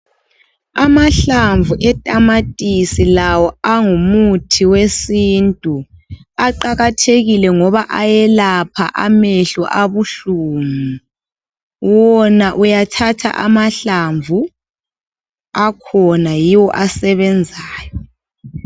Amahlamvu etamatisi lawo angumuthi wesintu aqakathekile ngoba ayelapha amehlo abuhlungu . Wona uyathatha amahlamvu akhona yiwo asebenzayo.